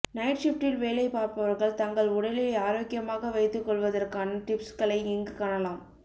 night ஷிப்ட்டில் வேலை பார்ப்பவர்கள் தங்கள் உடலை ஆரோக்கியமாக வைத்துக்கொள்வதற்கான டிப்ஸ்களை இங்கு காணலாம்